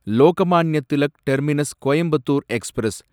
Lokmanya Tilak terminus Coimbatore express